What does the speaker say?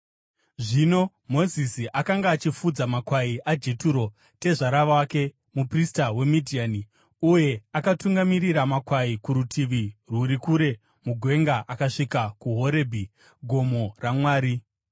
Zvino Mozisi akanga achifudza makwai aJeturo tezvara wake, muprista weMidhiani, uye akatungamirira makwai kurutivi rwuri kure mugwenga akasvika kuHorebhi, gomo raMwari.